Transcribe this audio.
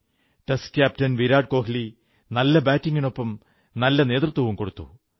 test captain Virat Kohli നല്ല ബാറ്റിംഗിനൊപ്പം നല്ല നേതൃത്വവും കൊടുത്തു